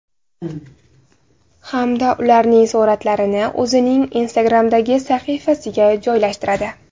Hamda ularning suratlarini o‘zining Instagram’dagi sahifasiga joylashtiradi.